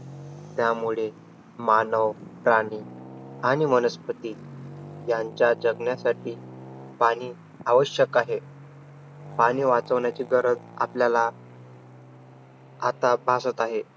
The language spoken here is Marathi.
त्यामुळे मानव प्राणी आणि वनस्पती यांच्या जगण्यासाठी पाणी आवश्यक आहे. पाणी वाचवण्याची गरज आपल्याला आता भासत आहे.